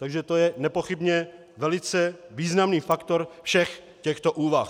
Takže to je nepochybně velice významný faktor všech těchto úvah.